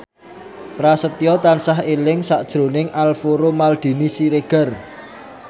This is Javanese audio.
Prasetyo tansah eling sakjroning Alvaro Maldini Siregar